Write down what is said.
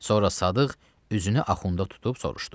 Sonra Sadıq üzünü axunda tutub soruşdu.